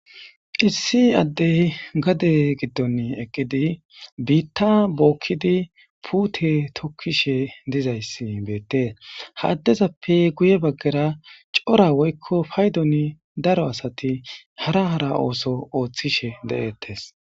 Issi adeyi gade giddoni eqqidi bitta bokkidi putte tokishe dizayis betesi. ha adezappe guye bagara coora woyikko payidon darro assati hara hara othishe detesi